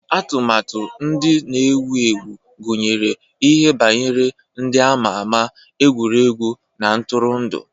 Atụmatụ ndị na-ewu ewu gụnyere ihe banyere ndị a ma ama, egwuregwu na ntụrụndụ.